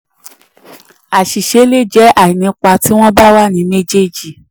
8. àṣìṣe le jẹ́ àìnípa tí wọ́n bá wà ní méjèèjì.